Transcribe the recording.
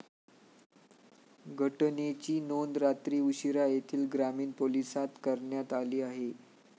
घटनेची नोंद रात्री उशीरा येथील ग्रामीण पोलीसांत करण्यात आली आहे.